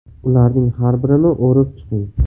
Ularning har birini o‘rib chiqing.